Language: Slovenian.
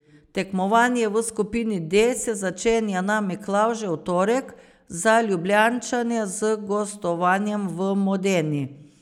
Tekmovanje v skupini D se začenja na Miklavžev torek, za Ljubljančane z gostovanjem v Modeni.